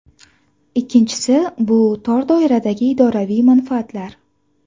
Ikkinchisi , bu tor doiradagi idoraviy manfaatlar.